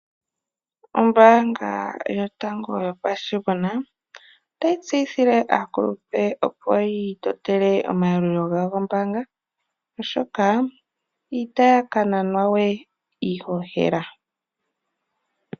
Ombaanga yotango yopashigwana otayi tseyithile aakulupe opo yiitotele omayalulo gombaanga oshoka itaya ka nanwa we iihohela.